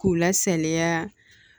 K'u la saliya